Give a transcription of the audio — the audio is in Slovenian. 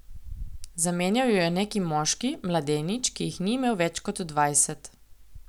Zamenjal jo je neki moški, mladenič, ki jih ni imel več kot dvajset.